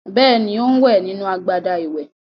Bẹ́ẹ̀ni, ó ń wẹ̀ nínú agbada ìwẹ̀.